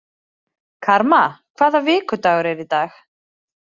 Karma, hvaða vikudagur er í dag?